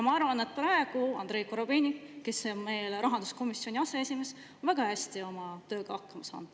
Ma arvan, et Andrei Korobeinik, kes on praegu rahanduskomisjoni aseesimees, on oma tööga väga hästi hakkama saanud.